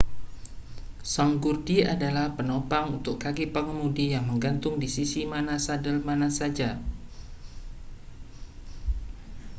sanggurdi adalah penopang untuk kaki pengemudi yang menggantung di sisi mana sadel mana saja